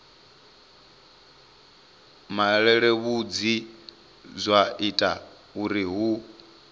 malelebvudzi zwa ita uri hu